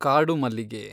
ಕಾಡು ಮಲ್ಲಿಗೆ